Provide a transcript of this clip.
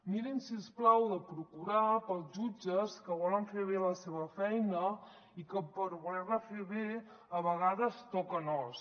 mirin si us plau de procurar pels jutges que volen fer bé la seva feina i que per voler·la fer bé a vegades toquen os